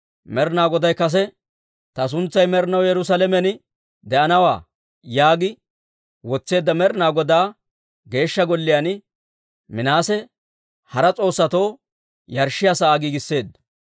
Med'inaa Goday kase, «Ta suntsay med'inaw Yerusaalamen de'anawaa» yaagi wotseedda Med'inaa Godaa Geeshsha Golliyaan Minaase hara s'oossatoo yarshshiyaa sa'aa giigisseedda.